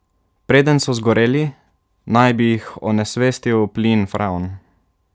Preden so zgoreli, naj bi jih onesvestil plin freon.